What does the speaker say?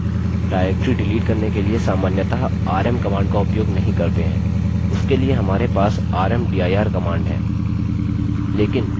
directories delete करने के लिए सामान्यतः rm command का उपयोग नहीं करते हैं उसके लिए हमारे पास rmdir command है